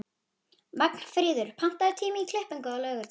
Magnfríður, pantaðu tíma í klippingu á laugardaginn.